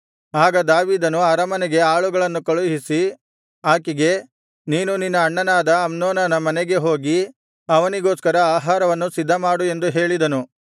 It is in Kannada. ಆಗ ದಾವೀದನು ಅರಮನೆಗೆ ಆಳುಗಳನ್ನು ಕಳುಹಿಸಿ ಆಕೆಗೆ ನೀನು ನಿನ್ನ ಅಣ್ಣನಾದ ಅಮ್ನೋನನ ಮನೆಗೆ ಹೋಗಿ ಅವನಿಗೋಸ್ಕರ ಆಹಾರವನ್ನು ಸಿದ್ಧಮಾಡು ಎಂದು ಹೇಳಿದನು